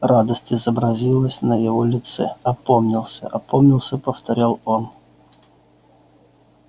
радость изобразилась на его лице опомнился опомнился повторял он